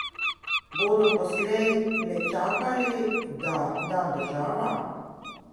Bodo poslej le čakali, da da država?